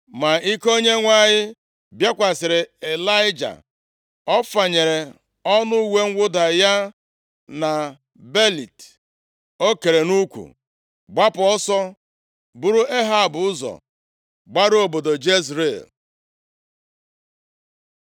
Ma ike Onyenwe anyị bịakwasịrị Ịlaịja. Ọ fanyere ọnụ uwe mwụda ya na belịt o kere nʼukwu, gbapụ ọsọ buru Ehab ụzọ gbaruo obodo Jezril.